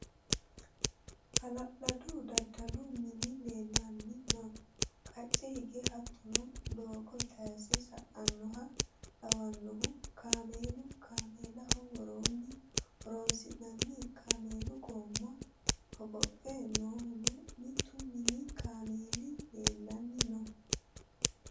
Hala'ladu daddalu mini leellanni no qacce hige hattono doogo tayse sa"anoha lawanohu kaameelu kaameellaho woronni horonsi'nanniha kaameelu goma hogophe noohunna mitu mini kaameeli leellanni no.